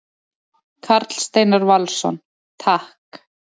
Karl Steinar Valsson: Takk.